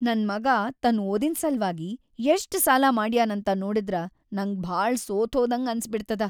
ನನ್‌ ಮಗಾ ತನ್‌ ಓದಿನ್‌ ಸಲ್ವಾಗಿ ಎಷ್ಟ್ ಸಾಲಾ ಮಾಡ್ಯಾನಂತ ನೋಡಿದ್ರ ನಂಗ್ ಭಾಳ ಸೋತ್ಹೋದಂಗ್ ಅನ್ಸಿಬಿಡ್ತದ.